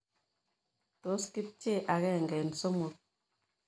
Tos' kepchei agenge eng' somok ii